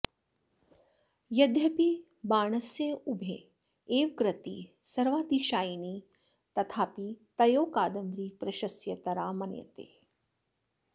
यद्यपि बाणस्योभे एव कृती सर्वातिशायिनी तथापि तयोः कादम्बरी प्रशस्यतरा मन्यते